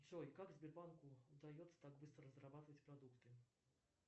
джой как сбербанку удается так быстро разрабатывать продукты